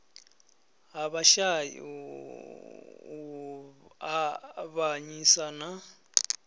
ha vhashai u avhanyisa na